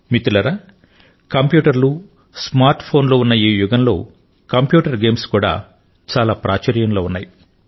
మిత్రులారా కంప్యూటర్ లు smart phone లు ఉన్న ఈ యుగంలో కంప్యూటర్ గేమ్స్ కూడా చాలా ప్రాచుర్యంలో ఉన్నాయి